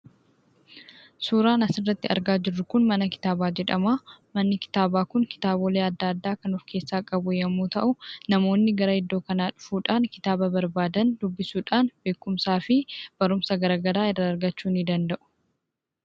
Suuraan asirratti argaa jirru Kun, mana kitaabaa jedhama. Manni kitaabaa Kun kitaabolee addaa addaa kan of keessaa qabu yemmuu ta'u , namoonni gara iddoo kanaa dhufuudhaan , kitaaba barbaadan dubbisuudhaan beekumsa fi barumsa garaagaraa irraa argachuu ni danda'u.